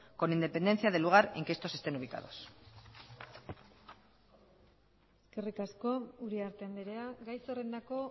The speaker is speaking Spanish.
con independencia del lugar en que estos estén ubicados eskerrik asko uriarte andrea gai zerrendako